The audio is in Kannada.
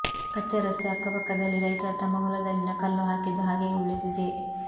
ಕಚ್ಚಾ ರಸ್ತೆ ಅಕ್ಕಪಕ್ಕದಲ್ಲಿ ರೈತರು ತಮ್ಮ ಹೊಲದಲ್ಲಿನ ಕಲ್ಲು ಹಾಕಿದ್ದು ಹಾಗೆಯೇ ಉಳಿದಿವೆ